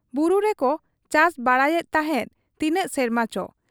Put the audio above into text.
ᱵᱩᱨᱩ ᱨᱮᱠᱚ ᱪᱟᱥ ᱵᱟᱲᱟᱭᱮᱫ ᱛᱟᱦᱮᱸᱫ ᱛᱤᱱᱟᱹᱜ ᱥᱮᱨᱢᱟ ᱪᱚ ᱾